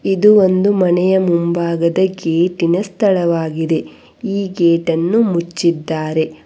ಇದು ಒಂದು ಮನೆಯ ಮುಂಭಾಗದ ಗೇಟಿನ ಸ್ಥಳವಾಗಿದೆ ಈ ಗೇಟನ್ನು ಮುಚ್ಚಿದ್ದಾರೆ.